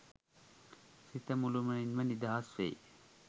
සිත මුළුමනින්ම නිදහස්වෙයි